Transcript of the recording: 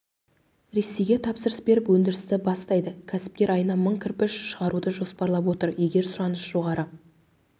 ресейге тапсырыс беріп өндірісті бастайды кәсіпкер айына мың кірпіш шығаруды жоспарлап отыр егер сұраныс жоғары